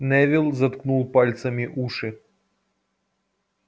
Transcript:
невилл заткнул пальцами уши